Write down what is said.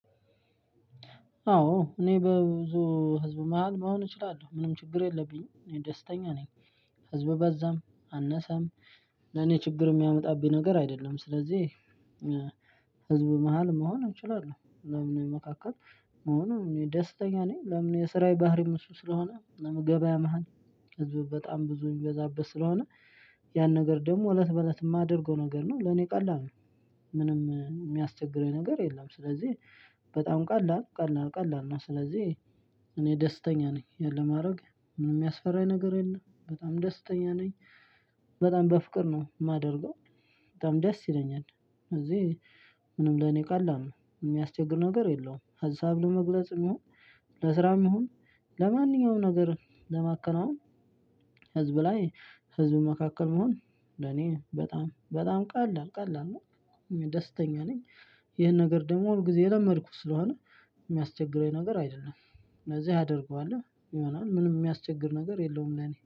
አዎ እኔ በብዙ ህዝብ መሃል መሆን እችላለሁ ምንም ችግር የለብኝም ደስተኛ ነኝ። ህዝብ በዛም አነሰም ለኔ ችግር የሚያመጣብኝ ነገር አይደለም። ስለዚህ ህዝብ መሃል መሆን እንችላለው ለምን መካከል መሆኑ ደስተኛ ነኝ። ለምን የስራ ባህሪም እሱ ስለሆነ ገበያ መሃል ህዝቡ በጣም ብዙ የሚበዛበት ስለሆነ ያን ነገር ደግሞ እለት በእለት የማደርገው ነገር ነው ለኔ ቀላል ነው። ምንም የሚያስቸግረኝ ነገር የለም። ስለዚህ በጣም ቀላል ቀላል ቀላል ነው። ስለዚህ እኔ ደስተኛ ነኝ። ይህን ለማረግ ምንም የሚያስፈራኝ ነገር የለም በጣም ደስተኛ ነኝ። በጣም በፍቅር ነው የማደርገው። በጣም ደስ ይለኛል። እዚህ ምንም ለኔ ቀላል ነው የሚያስቸግር ነገር የለውም። ሀሳብ ለመግለጽ የሚሆን ለስራም ይሁን ለማንኛውም ነገር ለማከናወን። ህዝብ ላይ ህዝብ መካከል መሆን ለኔ በጣም በጣም ቀላል ቀላል ነው ደስተኛ ነኝ። ይሄን ነገር ደግሞ ሁል ጊዜ የለመድኩት ስለሆነ የሚያስቸግረኝ ነገር አይደለም። ስለዚህ አደርገዋለው ይሆናል ምንም ሚያስቸግር ነገር የለውም ለእኔ